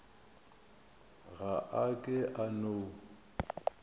ga a ke a no